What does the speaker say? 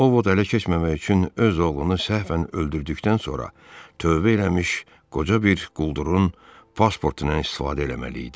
Ovod ələ keçməmək üçün öz oğlunu səhvən öldürdükdən sonra tövbə eləmiş qoca bir quldurun pasportundan istifadə eləməli idi.